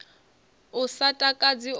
u sa takadzi o ri